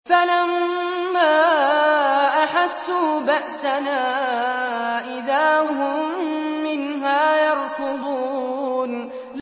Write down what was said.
فَلَمَّا أَحَسُّوا بَأْسَنَا إِذَا هُم مِّنْهَا يَرْكُضُونَ